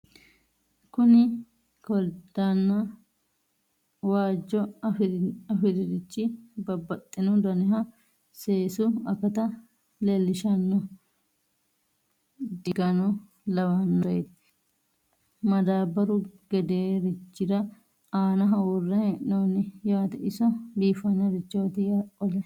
kuni koliddanna waajjo afiririchi babaxino daniha seesu akata leellishshanno diigano lawannoreeti madaabbaru gedeerichira aanaho worre hee'noonni yaate iso biifanorichoti qole .